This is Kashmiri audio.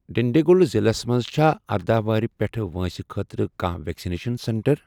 ڈِنٛڈیٖگُل ضلعس مَنٛز چھا اردہَ وُہُر پیٚٹھؠ وٲنٛسہِ خٲطرٕ کانٛہہ ویکسِنیشن سینٹر؟